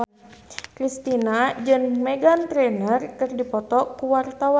Kristina jeung Meghan Trainor keur dipoto ku wartawan